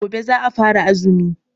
Gobe za'a fara azumi.